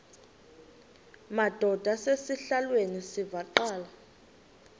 madod asesihialweni sivaqal